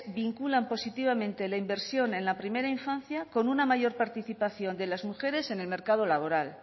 vinculan positivamente de la inversión en la primera infancia con una mayor participación de las mujeres en el mercado laboral